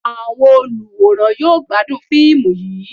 Awọn oluwórán yọọ gbadún fiimú yíí